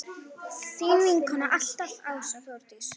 Þín vinkona alltaf, Ása Þórdís.